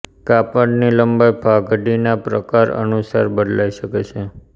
કાપડની લંબાઈ પાઘડીના પ્રકાર અનુસાર બદલાઈ શકે છે